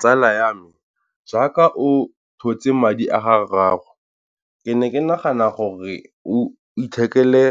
Tsala ya me jaaka o thotse madi a ga rraago, ke ne ke nagana gore o ithekele